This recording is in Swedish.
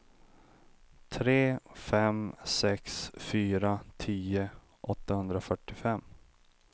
tre fem sex fyra tio åttahundrafyrtiofem